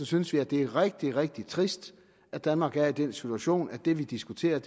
synes vi at det er rigtig rigtig trist at danmark er i den situation at det vi diskuterer